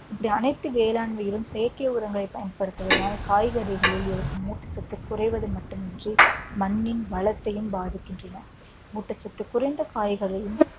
இப்படி அனைத்து வேளாண்மையிலும் செயற்கை உரங்களை பயன்படுத்துவதனால் காய்கறிகளில் இருக்கும் ஊட்டச்சத்து குறைவது மட்டுமின்றி மண்ணின் வளத்தையும் பாதிக்கின்றன ஊட்டச்சத்து குறைந்த காய்கறியும்